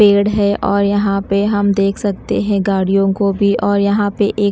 पेड़ है और यहां पे हम देख सकते हैं गाड़ियों को भी और यहां पे एक--